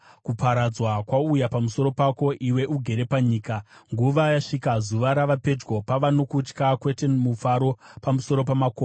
Kuparadzwa kwauya pamusoro pako, iwe ugere panyika. Nguva yasvika, zuva rava pedyo; pava nokutya, kwete mufaro, pamusoro pamakomo.